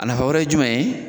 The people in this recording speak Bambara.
A nafa wɛrɛ ye jumɛn ye?